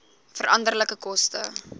veranderlike koste